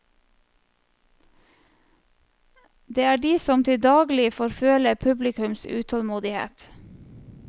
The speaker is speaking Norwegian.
Det er de som til daglig får føle publikums utålmodighet.